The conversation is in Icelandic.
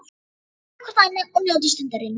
Faðmið hvort annað og njótið stundarinnar.